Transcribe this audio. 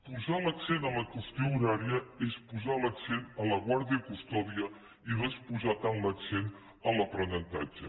posar l’accent en la qüestió horària és posar l’accent a la guàrdia i custòdia i no és posar tant l’accent en l’aprenentatge